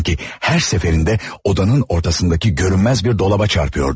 Sanki hər dəfə otağın ortasındakı görünməz bir şkafa dəyirdi.